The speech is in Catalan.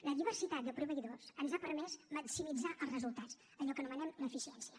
la diversitat de proveïdors ens ha permès maximitzar els resultats allò que anomenem l’ eficiència